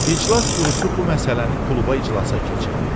İclas Qurusu bu məsələni kluba iclasa keçirdi.